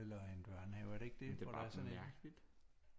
Eller en børnehave er det ikke det det er bare sådan en